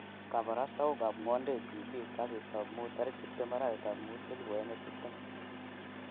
Kaporastautik ap ngwondet tv kasitap muut 20/5/2020